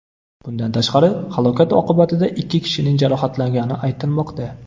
Bundan tashqari, halokat oqibatida ikki kishining jarohatlangani aytilmoqda.